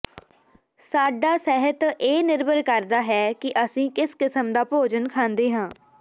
ਸਾਡਾ ਸਿਹਤ ਇਹ ਨਿਰਭਰ ਕਰਦਾ ਹੈ ਕਿ ਅਸੀਂ ਕਿਸ ਕਿਸਮ ਦਾ ਭੋਜਨ ਖਾਂਦੇ ਹਾਂ